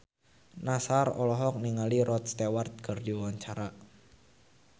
Nassar olohok ningali Rod Stewart keur diwawancara